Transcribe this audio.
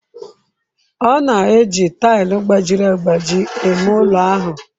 Ọ na-eji tile gbajiri agbaji eme ụlọ ahụ.